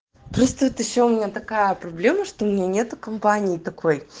просто вот ещё у меня такая проблема что у меня нет компании такой